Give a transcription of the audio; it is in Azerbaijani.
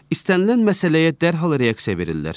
İstənilən məsələyə dərhal reaksiya verirlər.